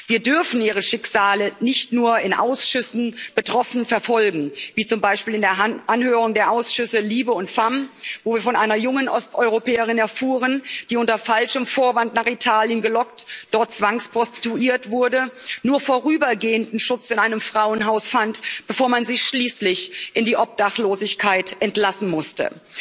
Wir dürfen ihre Schicksale nicht nur in Ausschüssen betroffen verfolgen wie zum Beispiel in der Anhörung der Ausschüsse LIBE und FEMM, wo ich von einer jungen Osteuropäerin erfuhr, die unter falschem Vorwand nach Italien gelockt, dort zwangsprostituiert wurde, nur vorübergehenden Schutz in einem Frauenhaus fand, bevor man sie schließlich in die Obdachlosigkeit entlassen musste.